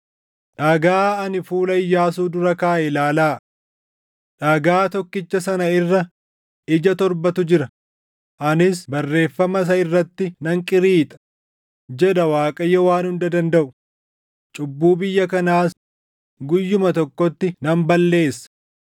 Dhagaa ani fuula Iyyaasuu dura kaaʼe ilaalaa! Dhagaa tokkicha sana irra ija torbatu jira; anis barreeffama isa irratti nan qiriixa’ jedha Waaqayyo Waan Hunda Dandaʼu; ‘cubbuu biyya kanaas guyyuma tokkotti nan balleessa.